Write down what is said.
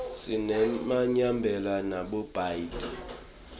sinemayemba nabothayi